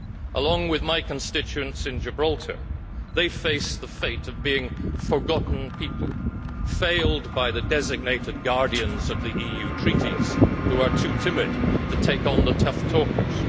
Along with my constituents in Gibraltar they face the fate of being forgotten people, failed by the designated guardians of the EU Treaties who are too timid to take on the tough talkers.